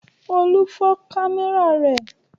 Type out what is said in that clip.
Olú fọ́ kámẹ́rà rẹ̀.